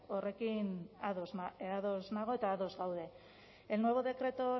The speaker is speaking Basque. horrekin ados nago eta ados gaude el nuevo decreto